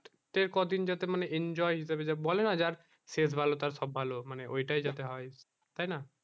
সেই কদিন যাতে enjoy এনজয় হিসাবে বলে না যার শেষ ভালো তার সব ভালো মানে ওই টায় যাতে হয় তাই না